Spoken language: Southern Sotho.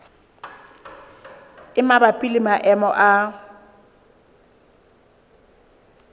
e mabapi le maemo a